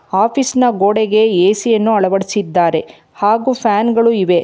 ಆಫೀಸಿ ನ ಗೋಡೆಗೆ ಎ_ಸಿ ಯನ್ನು ಅಳವಡಿಸಿದ್ದಾರೆ ಹಾಗೂ ಫ್ಯಾನ್ ಗಳು ಇವೆ.